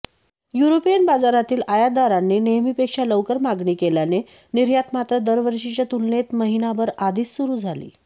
युरोपीय बाजारातील आयातदारांनी नेहमीपेक्षा लवकर मागणी केल्याने निर्यात मात्र दरवर्षीच्या तुलनेत महिनाभर आधीच सुरू झाली